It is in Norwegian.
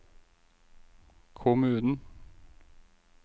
kommunen